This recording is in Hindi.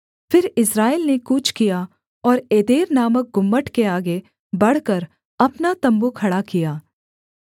फिर इस्राएल ने कूच किया और एदेर नामक गुम्मट के आगे बढ़कर अपना तम्बू खड़ा किया